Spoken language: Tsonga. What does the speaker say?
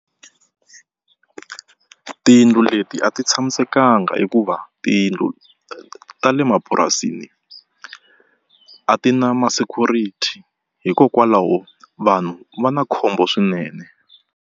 Tiyindlu leti a ti tshamisekanga hikuva tiyindlu ta le mapurasini a ti na ma-security hikokwalaho vanhu va na khombo swinene.